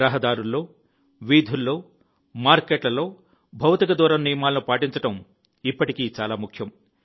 రహదారుల్లో వీధుల్లో మార్కెట్లలో భౌతిక దూరం నియమాలను పాటించడం ఇప్పటికీ చాలా ముఖ్యం